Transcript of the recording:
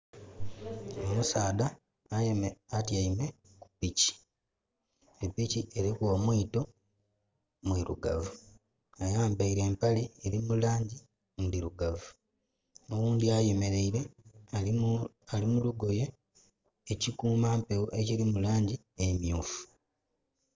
Omusaadha atiame ku piki. Epiki eriku omwito mwirugavu. Ayambaire empale eri mulangi ndirugavu. Oghundi ayemereire ali mulugoye ekikumampeewo ekiri mulangi emyufu